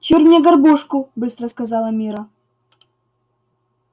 чур мне горбушку быстро сказала мирра